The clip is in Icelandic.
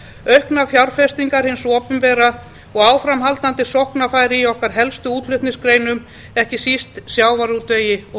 auknar fjárfestingar hins opinbera og áframhaldandi sóknarfæri í okkar helstu útflutningsgreinum ekki síst sjávarútvegi og